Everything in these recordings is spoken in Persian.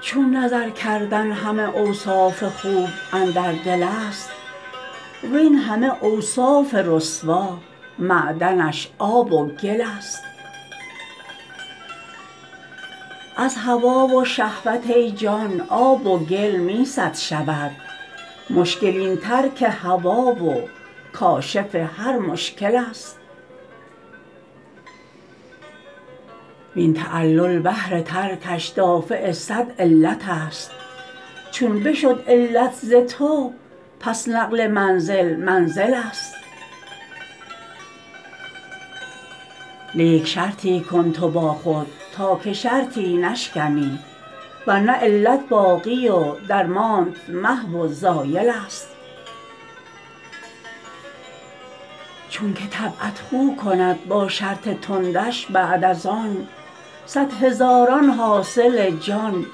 چون نظر کردن همه اوصاف خوب اندر دلست وین همه اوصاف رسوا معدنش آب و گلست از هوا و شهوت ای جان آب و گل می صد شود مشکل این ترک هوا و کاشف هر مشکلست وین تعلل بهر ترکش دافع صد علتست چون بشد علت ز تو پس نقل منزل منزلست لیک شرطی کن تو با خود تا که شرطی نشکنی ور نه علت باقی و درمانت محو و زایلست چونک طبعت خو کند با شرط تندش بعد از آن صد هزاران حاصل جان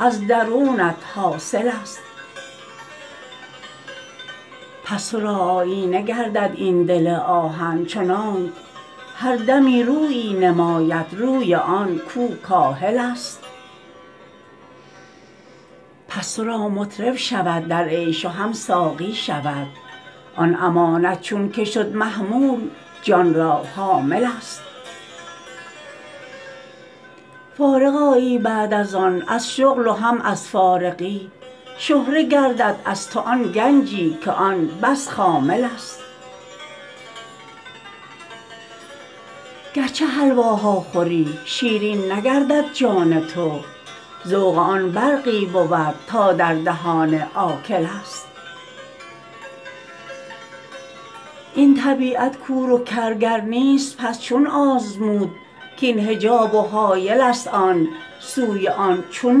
از درونت حاصلست پس تو را آیینه گردد این دل آهن چنانک هر دمی رویی نماید روی آن کو کاهلست پس تو را مطرب شود در عیش و هم ساقی شود آن امانت چونک شد محمول جان را حاملست فارغ آیی بعد از آن از شغل و هم از فارغی شهره گردد از تو آن گنجی که آن بس خاملست گرچه حلواها خوری شیرین نگردد جان تو ذوق آن برقی بود تا در دهان آکلست این طبیعت کور و کر گر نیست پس چون آزمود کاین حجاب و حایل ست آن سوی آن چون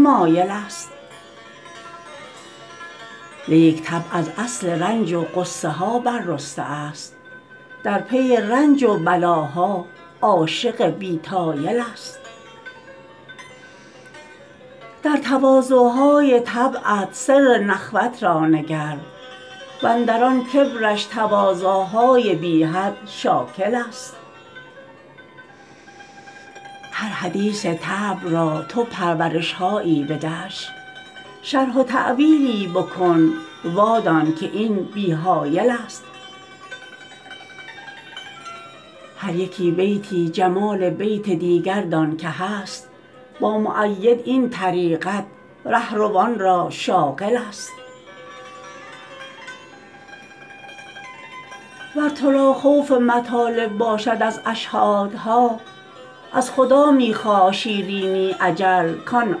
مایلست لیک طبع از اصل رنج و غصه ها بررسته ست در پی رنج و بلاها عاشق بی طایلست در تواضع های طبعت سر نخوت را نگر و اندر آن کبرش تواضع های بی حد شاکلست هر حدیث طبع را تو پرورش هایی بدش شرح و تأویلی بکن وادانک این بی حایلست هر یکی بیتی جمال بیت دیگر دانک هست با مؤید این طریقت ره روان را شاغلست ور تو را خوف مطالب باشد از اشهادها از خدا می خواه شیرینی اجل کان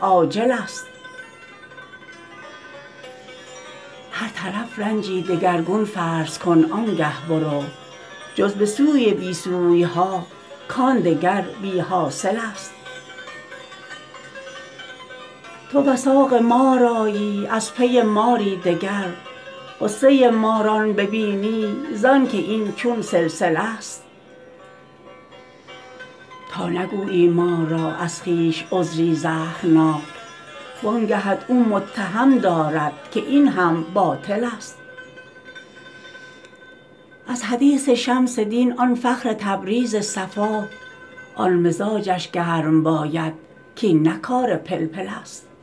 آجلست هر طرف رنجی دگرگون فرض کن آن گه برو جز به سوی بی سوی ها کان دگر بی حاصلست تو وثاق مار آیی از پی ماری دگر غصه ماران ببینی زانک این چون سلسله ست تا نگویی مار را از خویش عذری زهرناک وان گهت او متهم دارد که این هم باطلست از حدیث شمس دین آن فخر تبریز صفا آن مزاجش گرم باید کاین نه کار پلپلست